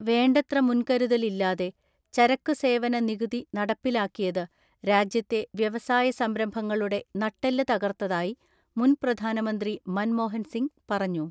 വേണ്ടത്ര മുൻകരുതലില്ലാതെ ചരക്കുസേവന നികുതി നട പ്പിലാക്കിയത് രാജ്യത്തെ വ്യവസായ സംരംഭങ്ങളുടെ നട്ടെല്ല് തകർത്തതായി മുൻ പ്രധാനമന്ത്രി മൻമോഹൻ സിംഗ് പറഞ്ഞു.